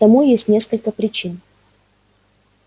тому есть несколько причин